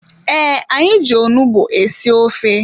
Ee, anyị ji onugbu esi ofe.